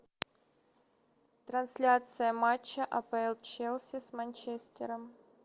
трансляция матча апл челси с манчестером